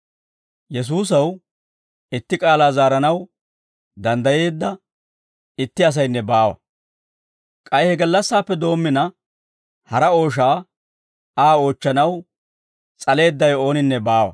Yesuusaw itti k'aalaa zaaranaw danddayeedda itti asaynne baawa; k'ay he gallassaappe doommina, hara ooshaa Aa oochchanaw s'aleeddawe ooninne baawa.